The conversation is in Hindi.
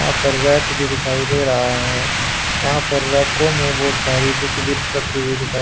यहां पर रैक भी दिखाई दे रहा है यहां पर लड़कों में बहोत सारी बुक रखी हुई दिखाई--